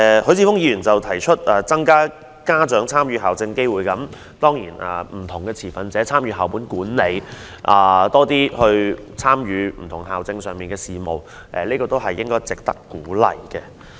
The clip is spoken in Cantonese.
許智峯議員提議增加家長參與校政機會，讓不同持份者參與校務管理，多些參與校政上的事務，都是值得鼓勵的。